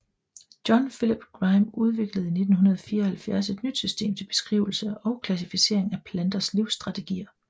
John Philip Grime udviklede i 1974 et nyt system til beskrivelse og klassificering af planters livsstrategier